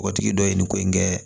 O tigi dɔ ye nin ko in kɛ